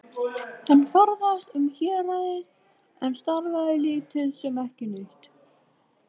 Hann ferðaðist um héraðið en starfaði lítið sem ekki neitt.